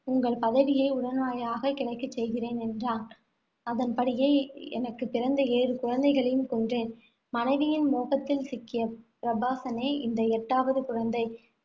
உங்கள் பதவியை உடனடியாகக் கிடைக்கச் செய்கிறேன் என்றேன். அதன்படியே எனக்கு பிறந்த ஏழு குழந்தைகளையும் கொன்றேன். மனைவியின் மோகத்தில் சிக்கிய பிரபாசனே இந்த எட்டாவது குழந்தை.